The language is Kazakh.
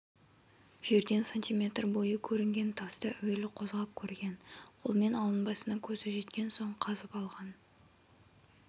жерден см бойы көрінген тасты әуелі қозғап көрген қолмен алынбасына көзі жеткен соң қазып алған